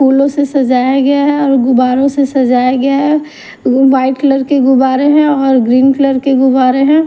फूलों से सजाया गया है और गुबारों से सजाया गया है वाइट कलर के गुबारे हैं और ग्रीन कलर के गुवारे हैं।